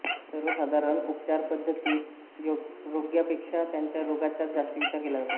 सर्वसाधारण उपचारपद्धतीत रोग्यापेक्षा त्यांच्या रोगाचाच जास्त विचार केला जातो